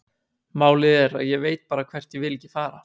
Málið er að ég veit bara hvert ég vil ekki fara.